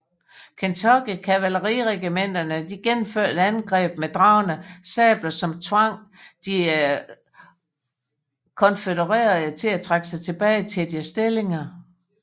Kentucky kavaleriregimenterne gennemførte et angreb med dragne sabler som tvang de konfødererede til at trække sig tilbage til deres stillinger